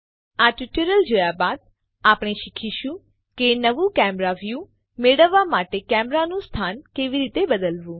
આ ટ્યુટોરીયલ જોયા બાદ આપણે શીખીશું કે નવું કેમેરા વ્યુ મેળવવા માટે કેમેરાનું સ્થાન કેવી રીતે બદલવું